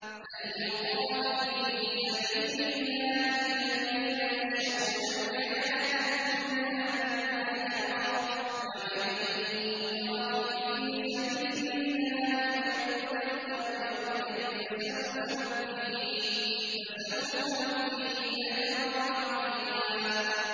۞ فَلْيُقَاتِلْ فِي سَبِيلِ اللَّهِ الَّذِينَ يَشْرُونَ الْحَيَاةَ الدُّنْيَا بِالْآخِرَةِ ۚ وَمَن يُقَاتِلْ فِي سَبِيلِ اللَّهِ فَيُقْتَلْ أَوْ يَغْلِبْ فَسَوْفَ نُؤْتِيهِ أَجْرًا عَظِيمًا